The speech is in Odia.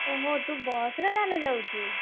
ଓହୋ ତୁ ବସ ରେ ତାହେଲେ ଯାଉଚୁ?